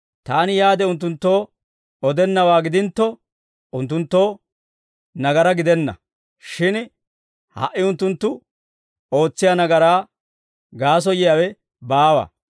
Taani yaade unttunttoo odennawaa gidintto, unttunttoo nagaraa gidenna; shin ha"i unttunttu ootsiyaa nagaraa gaasoyiyaawe baawa.